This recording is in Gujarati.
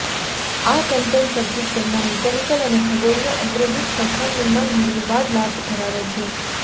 આ કંપન સર્કિટ તેમના મિકેનિકલ અને ખગોળીય અગ્રદૂત સરખામણીમાં નિર્વિવાદ લાભ ધરાવે છે